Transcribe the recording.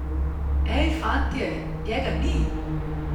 Ej, fantje, njega ni!